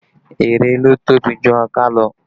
Erè ló tóbi jù ọká lọ